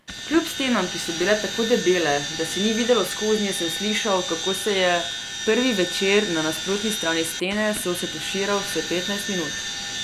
Kljub stenam, ki so bile tako debele, da se ni videlo skoznje, sem slišal, kako se je prvi večer na nasprotni strani stene sosed tuširal vsaj petnajst minut.